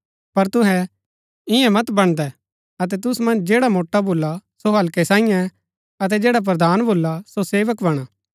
पर तुहै इन्या मत बणदै अतै तुसु मन्ज जैडा मोट्आ भुला सो हल्कै साईयें अतै जैडा प्रधान भुला सो सेवक बणा